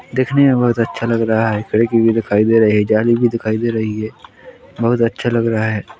दिखने में बहुत अच्छा लग रहा है खिड़की भी दिखाई दे रही है जाली भी दिखाई दे रही है बहुत अच्छा लग रहा है।